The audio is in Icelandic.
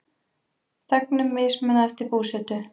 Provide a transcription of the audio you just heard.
Þegnum mismunað eftir búsetu